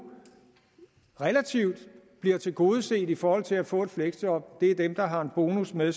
relativt blive tilgodeset i forhold til at få et fleksjob er dem der har en bonus med